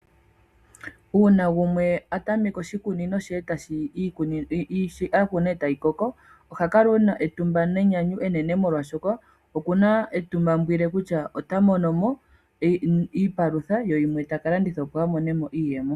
Uuna gumwe a tameke oshikunino she ndele shoka a ku na e tashi koko, oha kala e na etumba nenyanyu enene, molwashoka oku na etimaumbwile kutya ota mono mo iipalutha ye yimwe ta ka landitha, opo a mone mo iiyemo.